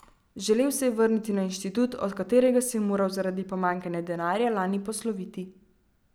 Želel se je vrniti na inštitut, od katerega se je moral zaradi pomanjkanja denarja lani posloviti.